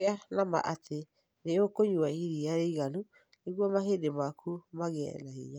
Gĩa na ma atĩ nĩ ũkũnyua iria rĩiganu nĩguo mahĩndĩ maku magĩe na hinya.